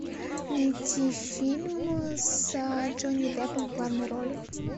найти фильмы с джонни деппом в главной роли